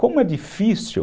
Como é difícil.